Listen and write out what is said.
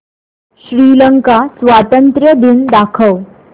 श्रीलंका स्वातंत्र्य दिन दाखव